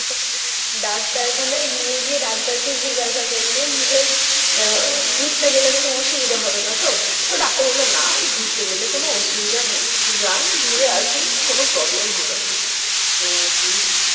ডাক্তারখানায় নিয়ে গিয়ে ডাক্তারকে জিজ্ঞাসা করলুম যে আহ ঘুরতে গেলে কোন অসুবিধা হবে না তো? তো ডাক্তার বলল না ঘুরতে গেলে কোন অসুবিধা নাই। যান ঘুরে আসুন কোন problem হবে না। আহ atleast